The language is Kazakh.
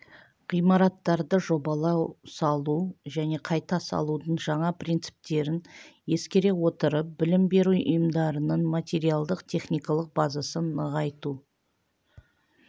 ғимараттарды жобалау салу және қайта салудың жаңа принциптерін ескере отырып білім беру ұйымдарының материалдық-техникалық базасын нығайту